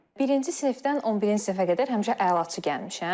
Birinci sinifdən 11-ci sinifə qədər həmişə əlaçı gəlmişəm.